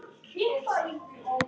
Jafnvel í stórum hópum?